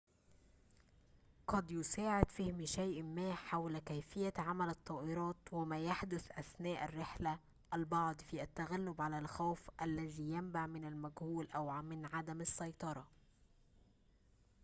قد يساعد فهم شيء ما حول كيفية عمل الطائرات وما يحدث أثناء الرحلة البعض في التغلب على الخوف الذي ينبع من المجهول أو من عدم السيطرة